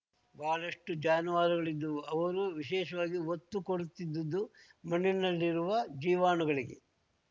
ಬಹಳಷ್ಟುಜಾನುವಾರುಗಳಿದ್ದವು ಅವರು ವಿಶೇಷವಾಗಿ ಒತ್ತು ಕೊಡುತ್ತಿದ್ದದ್ದು ಮಣ್ಣಿನಲ್ಲಿರುವ ಜೀವಾಣುಗಳಿಗೆ